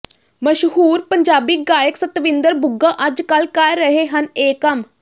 ਮਸ਼ਹੂਰ ਪੰਜਾਬੀ ਗਾਇਕ ਸਤਵਿੰਦਰ ਬੁੱਗਾ ਅੱਜਕੱਲ੍ਹ ਕਰ ਰਹੇ ਹਨ ਇਹ ਕੰਮ